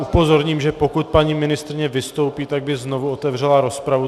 Upozorním, že pokud paní ministryně vystoupí, tak by znovu otevřela rozpravu.